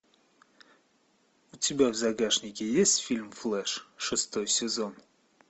у тебя в загашнике есть фильм флэш шестой сезон